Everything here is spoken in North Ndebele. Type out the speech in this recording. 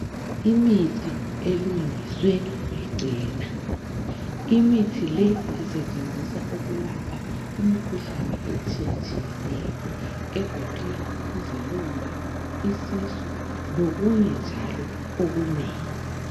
Imithi elungiswe ngeChena, Imithi le isetshenziswa ukulapha imikhuhlane etshiyetshiyeneyo egoqela izilonda, isisu lokunye njalo okunengi.